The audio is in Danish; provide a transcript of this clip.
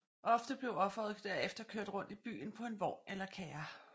Ofte blev offeret derefter kørt rundt i byen på en vogn eller kærre